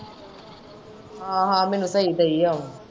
ਹਾਂ-ਹਾਂ ਮੈਨੂੰ ਸਹੀ ਦਈ ਏ ਆਉਣ।